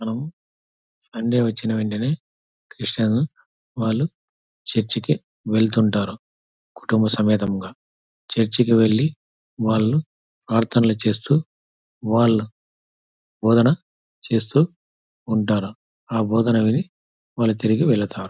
మనం సండే వచ్చిన వెంటనే క్రిస్టియన్ వాళ్ళు చర్చి కి వెళ్తుంటారు కుటుంబ సమేతంగా. చర్చి కి వెళ్ళి వాళ్ళు ప్రార్థనలు చేస్తూ వాళ్ళు బోధన చేస్తూ ఉంటారు. ఆ బోధన విని వాళ్ళు తిరిగి వెళ్ళతారు.